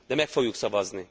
De meg fogjuk szavazni!